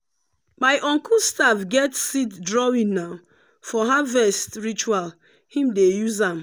my uncle staff get seed drawingna for harvest ritual him dey use am.